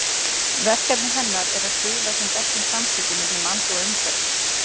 Verkefni hennar er að stuðla sem bestum samskiptum milli manns og umhverfis.